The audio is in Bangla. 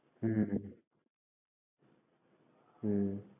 হুম হুম হুম হুম।